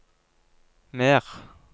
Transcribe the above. mer